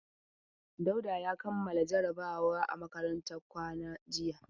Dauda ya kammala jarabawa a makarantar kwana jiya.